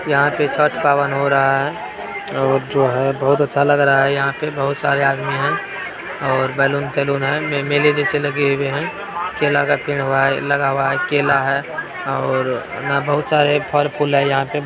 यहाँ पे छठ का पावन हो रहा है और जो है बहुत अच्छा लग रहा है यहाँ पे बहुत सारे आदमी है और बैलून तैलुन है मे-मेले जैसे लगे हुए हैं केला का पेड़ बा है लगा हुआ है केला है और न बहुत सारे फल फूल है यहाँ पे --